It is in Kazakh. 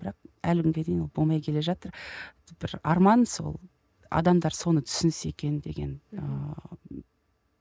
бірақ әлі күнге дейін ол болмай келе жатыр бір арман сол адамдар соны түсінсе екен деген ыыы